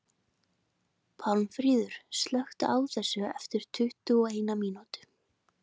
Pálmfríður, slökktu á þessu eftir tuttugu og eina mínútur.